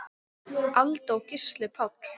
Alda og Gísli Páll.